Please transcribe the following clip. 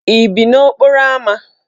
Ị bi n'okporo ámá?